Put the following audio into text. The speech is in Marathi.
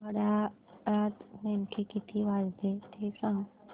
घड्याळात नेमके किती वाजले ते सांग